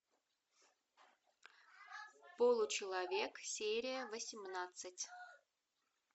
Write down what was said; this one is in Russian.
получеловек серия восемнадцать